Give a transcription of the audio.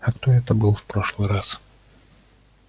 а кто это был в прошлый раз